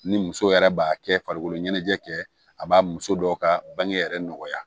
Ni muso yɛrɛ b'a kɛ farikolo ɲɛnajɛ kɛ a b'a muso dɔw ka bange yɛrɛ nɔgɔya